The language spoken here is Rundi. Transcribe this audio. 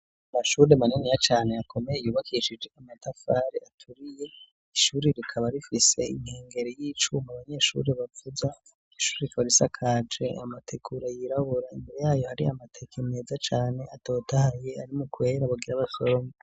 Amashuri maniniya cane akomeye yubakishije amatafari aturiye; ishuri rikaba rifise inkengeri y'icuma abanyeshuri bavuza. Ishuri ikaba isakaje amategura yirabura. Imbere yayo hari amateke meza cane atotahaye ari mu kwera, bagira basorome.